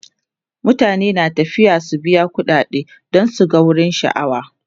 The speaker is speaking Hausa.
mutane na tafiya su biya ƙuɗade dan su gan wurin sha'awa